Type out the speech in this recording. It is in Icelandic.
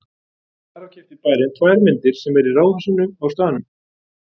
Þar af keypti bærinn tvær myndir sem eru í ráðhúsinu á staðnum.